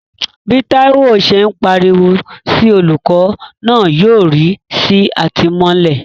Bí Taiwo ṣe ń pariwo sí olùkọ́ náà yọrí sí àtìmọ́lé.